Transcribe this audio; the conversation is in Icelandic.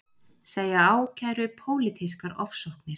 Segja ákæru pólitískar ofsóknir